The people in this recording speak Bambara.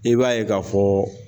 I b'a ye k'a fɔ